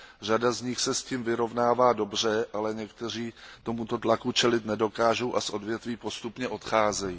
Řada z nich se s tím vyrovnává dobře, ale někteří tomuto tlaku čelit nedokážou a z odvětví postupně odcházejí.